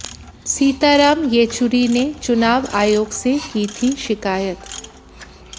सीताराम येचुरी ने चुनाव आयोग से की थी शिकायत